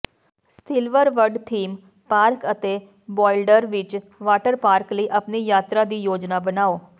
Silverwood theme park ਅਤੇ Boulder Beach water park ਲਈ ਆਪਣੀ ਯਾਤਰਾ ਦੀ ਯੋਜਨਾ ਬਣਾਓ